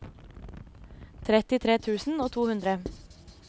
trettitre tusen og to hundre